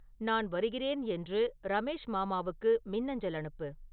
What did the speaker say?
நான் வருகிறேன் என்று ரமேஷ் மாமாவுக்கு மின்னஞ்சல் அனுப்பு